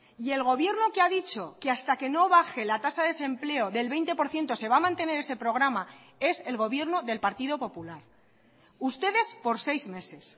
y el gobierno que ha dicho que hasta que no baje la tasa de desempleo del veinte por ciento se va a mantener ese programa es el gobierno del partido popular ustedes por seis meses